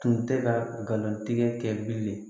Tun tɛ kalontigɛ kɛ bilen